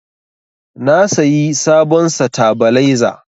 Na sayi sabon satabaleza